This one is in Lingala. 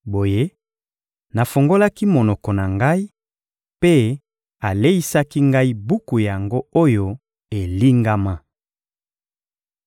Boye, nafungolaki monoko na ngai, mpe aleisaki ngai buku yango oyo elingama.